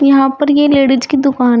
यहां पर ये लेडीज की दुकान है।